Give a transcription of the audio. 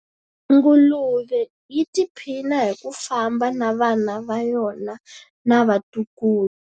Nguluve yi tiphina hi ku famba na vana va yona na vatukulu.